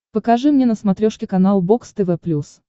покажи мне на смотрешке канал бокс тв плюс